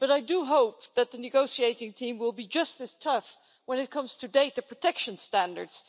But I do hope that the negotiating team will be just as tough when it comes to data protection standards.